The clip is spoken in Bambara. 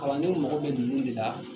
Kalandenw mago bɛ ninnu de la